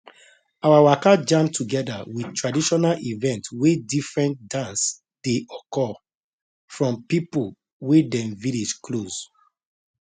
our waka jam together with traditional event wey different dance dey occur from people wey dem village close